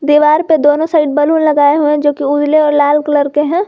दीवार पे दोनों साइड बैलून लगाए हुए जोकि उजले और लाल कलर के हैं।